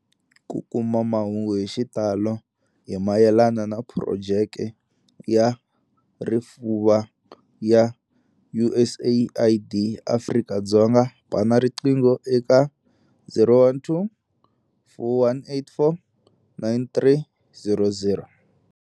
Ku kuma mahungu hi xitalo hi mayelana na Phurojeke ya Rifuva ya USAID eAfrika-Dzonga, bana riqingho eka- 012 484 9300.